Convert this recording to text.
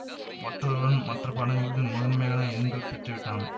மற்றொருவன் மற்ற பாடங்களில் முதன்மையான எண்கள் பெற்றுவிட்டான்